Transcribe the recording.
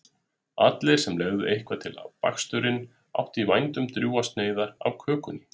Allir sem legðu eitthvað til við baksturinn áttu í vændum drjúgar sneiðar af kökunni.